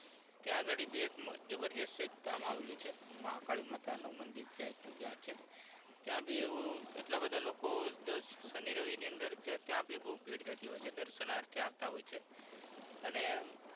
ત્યાં અગાડી બી એક જબરદસ્ત એક ગામ આવેલું છે મહાકાળી માતા નું મંદિર ક્યાં ત્યાં છે ત્યાં બી એવું એટલા બધા લોકો જસ્ટ સની રવિ ની અંદર ત્યાં ત્યાં બી બૌ ભીડ રેતી હોય છે દર્શનાર્થે આવતા હોય છે અને